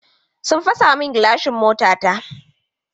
Sun tiska mun gilashin motata ce.